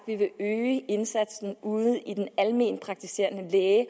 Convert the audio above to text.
vi vil øge indsatsen ude ved den almenpraktiserende læge